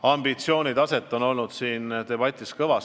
Ambitsioone on siin olnud kõvasti tunda.